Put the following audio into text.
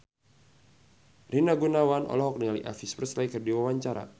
Rina Gunawan olohok ningali Elvis Presley keur diwawancara